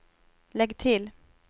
lägg till